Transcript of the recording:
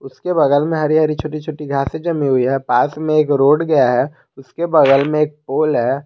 उसके बगल में हरी हरी छोटी छोटी घासे जमी हुई है पास में एक रोड गया है उसके बगल में एक पोल है।